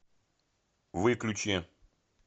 выключи